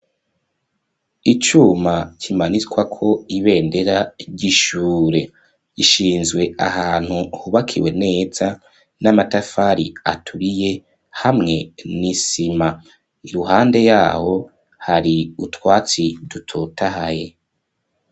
Icuma kimanikwa ko ibendera ry'ishure ishinzwe ahantu hubakiwe neza n'amatafari aturiye hamwe n'isima iruhande yaho hari utwatsi dutotahaye.